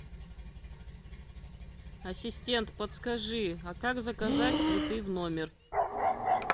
ассистент подскажи а как заказать цветы в номер